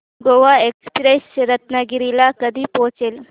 Goa express Ratnagiri ला कधी पोहचते